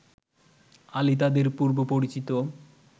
আলী তাদের পূর্ব পরিচিত